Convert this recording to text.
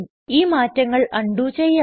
ഈ മാറ്റങ്ങൾ അണ്ഡു ചെയ്യാം